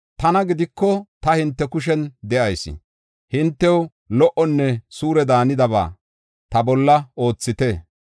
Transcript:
Tana gidiko, ta hinte kushen de7ayis. Hintew lo77onne suure daanidaba ta bolla oothite.